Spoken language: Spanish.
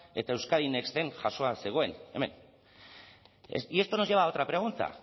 eta euskadi nexten jasoa zegoen hemen y esto nos lleva a otra pregunta